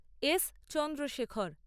S Chandrashekhar